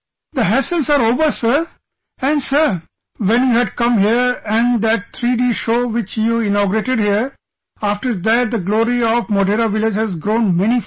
The hassles are over Sir and Sir, when you had come here and that 3D show which you inaugurated here, after that the glory of Modhera village has grown manifold